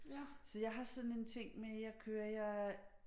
Så jeg har sådan en ting med jeg kører jeg